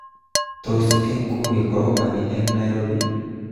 Tos, eng nguni korobani eng Nairobi